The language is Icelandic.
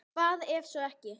Hvað ef svo er ekki?